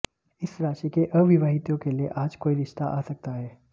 इस राशि के अविवाहितों के लिए आज कोई रिश्ता आ सकता है